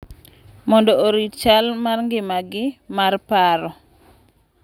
Mondo orit chal mar ngimagi mar paro.